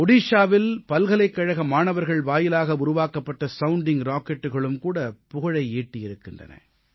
ஒடிஷாவில் பல்கலைக்கழக மாணவர்கள் வாயிலாக உருவாக்கப்பட்ட சவுண்டிங் rocketகளும் கூட புகழை ஈட்டியிருக்கின்றன